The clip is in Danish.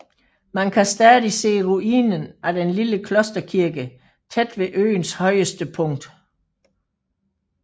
Man kan stadig se ruinen af den lille klosterkirke tæt ved øens højeste punkt